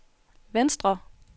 venstre